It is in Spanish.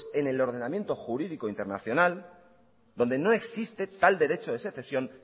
es en el ordenamiento jurídico internacional donde no existe tal derecho de secesión